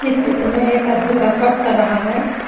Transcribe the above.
इस चित्र में एक आदमी वर्कआउट कर रहा है।